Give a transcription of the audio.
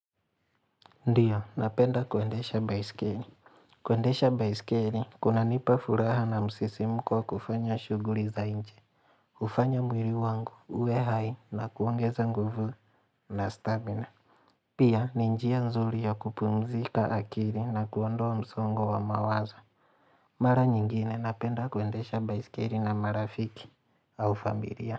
Ndio, napenda kuendesha baiskeli. Kuendesha baiskeli, kunanipa furaha na msisimko wa kufanya shughuli za nje. Kufanya mwili wangu, uwe hai, na kuongeza nguvu na stamina. Pia, ni njia nzuri ya kupumzika akili na kuondoa msongo wa mawazo. Mara nyingine, napenda kuendesha baiskeli na marafiki au familia.